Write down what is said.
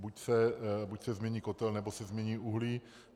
Buď se změní kotel, nebo se změní uhlí.